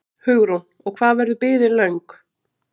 Hugrún: Og hvað verður biðin löng?